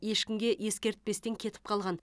ешкімге ескертпестен кетіп қалған